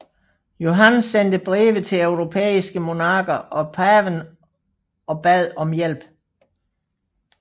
Johan sendte breve til europæiske monarker og paven og bad om hjælp